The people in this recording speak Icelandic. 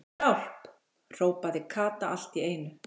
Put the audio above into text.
HJÁLP.! hrópaði Kata allt í einu.